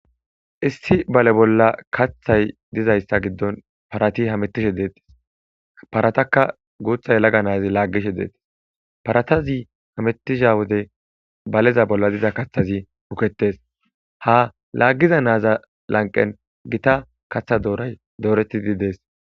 Issi balle bolla kaththay dizayissa gidon parati hamutishshe detes paratakka guththa yelaga nayti lagishshe dettes paratazi hemetiza wode aleza bolla diza kaththazi bukketes ha lagiza naza lanqen gita dooray doretidi des